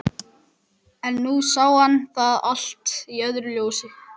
En nú sá hann það allt í öðru ljósi.